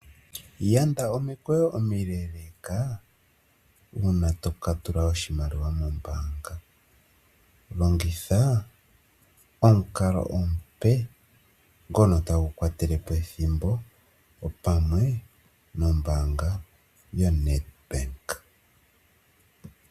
Yanda omikweyo omiileleka uuna tokapungula oshimaliwa mombaanga, longitha omukalo omupe ngono tagu kwatele po ethimbo opamwe nombaanga yoNEDBANK.